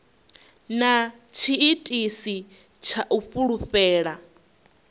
na tshiitisi tsha u fulufhela